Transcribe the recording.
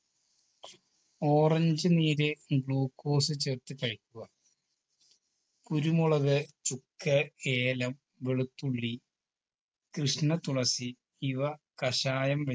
orange നീര് glucose ചേർത്തു കഴിക്കുക കുരുമുളക് ചുക്ക് ഏലം വെളുത്തുള്ളി കൃഷ്ണതുളസി ഇവ കഷായം